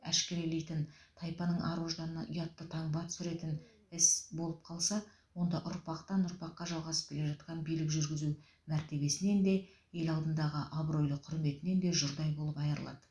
әшкерелейтін тайпаның ар ожданына ұятты таңба түсіретін іс болып қалса онда ұрпақтан ұрпаққа жалғасып келе жатқан билік жүргізу мәртебесінен де ел алдындағы абыройлы құрметінен де жұрдай болып айырылады